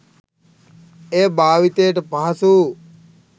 එය භාවිතයට පහසු